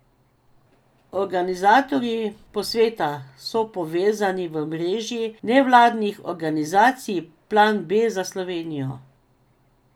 Organizatorji posveta so povezani v mreži nevladnih organizacij Plan B za Slovenijo.